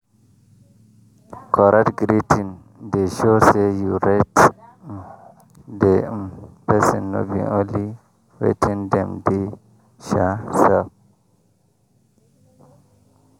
correct greeting dey show say you rate um the um persin no be only wetin dem dey um sell.